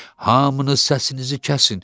Hamınız səsinizi kəsin.